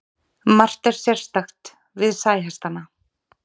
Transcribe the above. margt er sérstakt við sæhestana